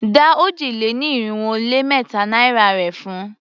Dá òjì-lé-ní-irinwó-lé-mẹ́ta naira rè padà fun!